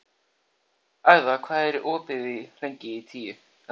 Agða, hvað er opið lengi í Tíu ellefu?